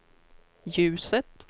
ljuset